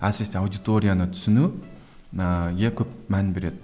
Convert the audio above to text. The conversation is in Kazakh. әсіресе аудиторияны түсіну көп мән береді